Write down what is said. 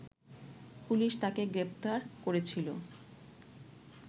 police তাকে গ্রেপ্তার করেছিল